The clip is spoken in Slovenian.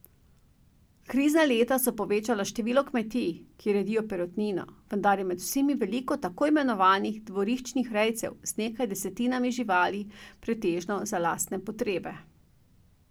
Krizna leta so povečala število kmetij, ki redijo perutnino, vendar je med vsemi veliko tako imenovanih dvoriščnih rejcev z nekaj desetinami živali pretežno za lastne potrebe.